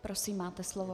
Prosím, máte slovo.